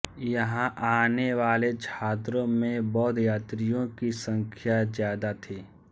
यहां आने वाले छात्रों में बौद्ध यात्रियों की संख्या ज्यादा थी